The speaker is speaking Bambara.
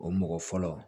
O mɔgɔ fɔlɔ